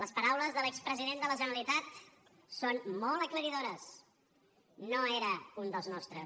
les paraules de l’expresident de la generalitat són molt aclaridores no era un dels nostres